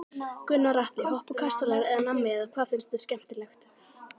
Gunnar Atli: Hoppukastalar eða nammi eða hvað finnst þér skemmtilegt?